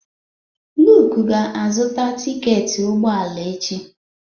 Luke ga-azụta tiketi ụgbọ ala echi.